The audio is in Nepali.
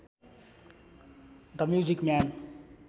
the music man